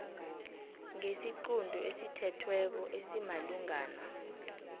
ngesiqunto esithethweko esimalungana